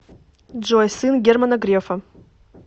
джой сын германа грефа